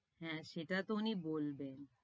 হ্যাঁ সেটা তো উনি বলবেন।